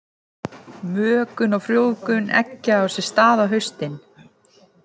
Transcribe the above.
Mökun og frjóvgun eggja á sér stað á haustin.